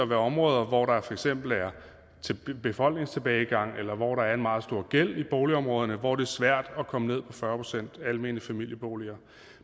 være områder hvor der for eksempel er befolkningstilbagegang eller hvor der er en meget stor gæld i boligområderne hvor det svært at komme ned på fyrre procent almene familieboliger